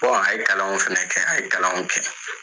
a ye kalanw fɛnɛ kɛ, a ye kalanw kɛ.